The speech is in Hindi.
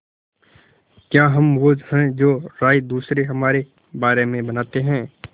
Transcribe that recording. क्या हम वो हैं जो राय दूसरे हमारे बारे में बनाते हैं